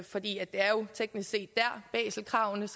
for det er jo teknisk set der baselkravene